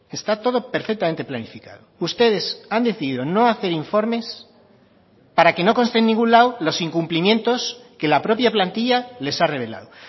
está todo perfectamente planificado ustedes han decidido no hacer informes para que no conste en ningún lado los incumplimientos que la propia plantilla les ha revelado